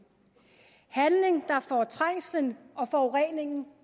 handling der får trængslen og forureningen